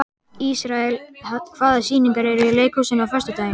Ísrael, hvaða sýningar eru í leikhúsinu á föstudaginn?